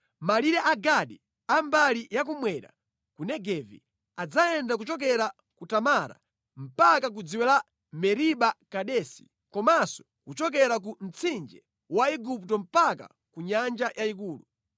“Malire a Gadi a mbali yakummwera ku Negevi adzayenda kuchokera ku Tamara mpaka ku dziwe la Meriba Kadesi komanso kuchokera ku Mtsinje wa Igupto mpaka ku Nyanja Yayikulu.